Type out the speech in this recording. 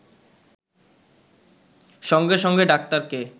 সঙ্গে সঙ্গে ডাক্তারকে